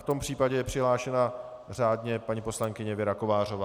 V tom případě je přihlášena řádně paní poslankyně Věra Kovářová.